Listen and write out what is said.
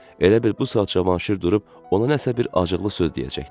Elə bil bu saat Cavanşir durub ona nəsə bir acıqlı söz deyəcəkdi.